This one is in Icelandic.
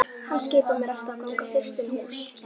Hann skipar mér alltaf að ganga fyrst inn í hús